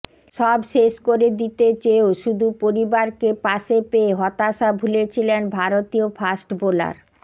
সব শেষ করে দিতে চেয়েও শুধু পরিবারকে পাশে পেয়ে হতাশা ভুলেছিলেন ভারতীয় ফাস্ট বোলার